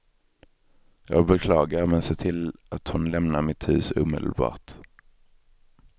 Jag beklagar, men se till att hon lämnar mitt hus omedelbart.